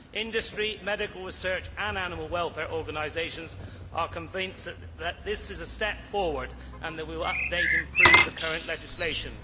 Industry, medical research and animal welfare organisations are convinced that this is a step forward and that we will update and improve the current legislation.